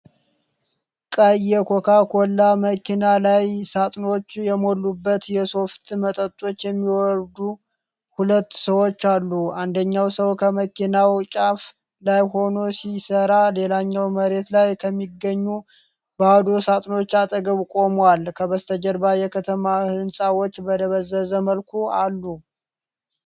ቀይ የኮካ ኮላ መኪና ላይ፣ ሣጥኖች የሞሉበትን የሶፍት መጠጦች የሚያወርዱ ሁለት ሰዎች አሉ። አንደኛው ሰው ከመኪናው ጫፍ ላይ ሆኖ ሲሰራ፣ ሌላኛው መሬት ላይ ከሚገኙ ባዶ ሣጥኖች አጠገብ ቆሟል። ከበስተጀርባ የከተማ ህንጻዎች በደበዘዘ መልኩ አሉ።